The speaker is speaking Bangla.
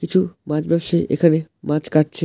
কিছু মাছ ব্যবসায়ী এখানে মাছ কাটছে।